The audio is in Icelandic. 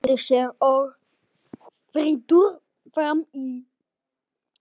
Hendir sér ógyrtur fram í.